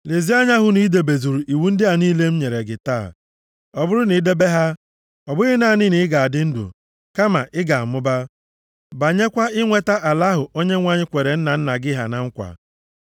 Lezie anya hụ na i debezuru iwu ndị a niile m nyere gị taa. Ọ bụrụ na i debe ha, ọ bụghị naanị na ị ga-adị ndụ, kama ị ga-amụba, banyekwa inweta ala ahụ Onyenwe anyị kwere nna nna gị ha na nkwa.